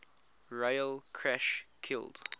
rail crash killed